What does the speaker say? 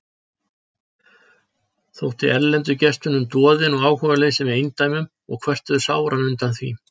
Þótti erlendu gestunum doðinn og áhugaleysið með eindæmum og kvörtuðu sáran undan því.